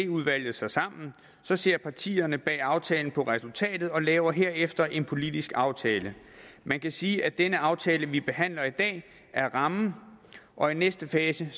udvalget sig sammen så ser partierne bag aftalen på resultatet og laver herefter en politisk aftale man kan sige at den aftale vi behandler i dag er rammen og i næste fase